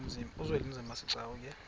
uzwelinzima asegcuwa ke